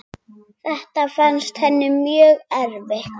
Þetta fannst henni mjög erfitt.